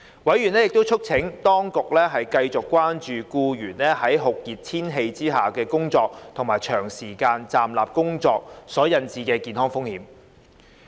委員亦促請當局繼續關注僱員在酷熱天氣下工作及長時間站立工作所引致的健康風險。